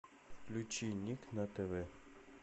включи ник на тв